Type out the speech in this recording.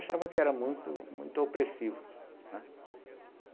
Achava que era muito muito opressivo, né.